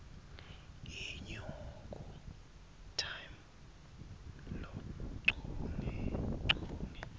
inyuku time luchungechunge